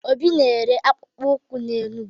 Obi na-ere akpụko ụkwụ n'Enugwu.